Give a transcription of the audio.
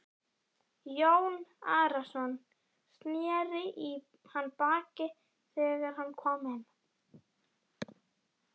Jón Arason sneri í hann baki þegar hann kom inn.